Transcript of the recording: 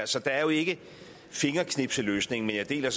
så der er jo ikke fingerknipsløsninger men jeg deler